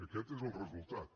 aquest és el resultat